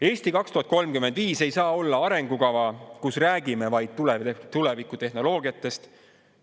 "Eesti 2035" ei saa olla arengukava, kus räägime vaid tulevikutehnoloogiatest.